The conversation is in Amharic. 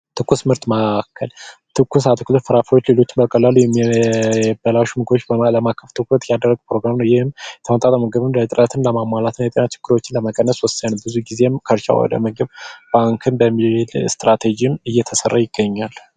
የትኩስ ምርጥ ማዕከል፤ ትኩስ የአትክልት ፍራፍሬዎች ማዕከል ቶሎ የሚበላሹ ምግቦችን ትኩረት የሚሰጥ ሲሆን ይህም ምግብን ለማሟላትና የጤና ችግሮችን ለመቀነስ ወሳኝ ነው ብዙ ጊዜ ካልቸራል በሆነ መልኩ እየተሰራ ይገኛል።